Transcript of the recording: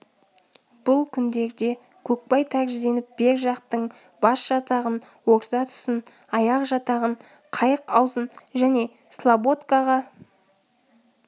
бұл күндерде көкбай тәрізденіп бер жақтың бас жатағын орта тұсын аяқ жатағын қайық аузын және слободкаға